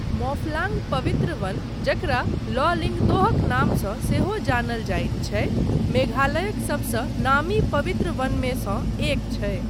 मौफलांग पवित्र वन, जकरा 'लॉ लिंगदोह'क नामसँ सेहो जानल जाइत छै, मेघालयक सबसँ नामी पवित्र वनमे सँ एक छै।